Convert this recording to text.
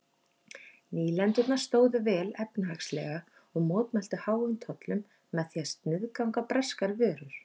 Nýlendurnar stóðu vel efnahagslega og mótmæltu háum tollum með því að sniðganga breskar vörur.